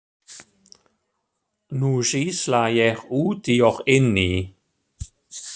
Nú sýsla ég úti og inni.